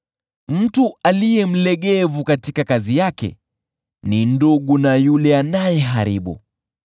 Mtu aliye mlegevu katika kazi yake ni ndugu na yule anayeharibu.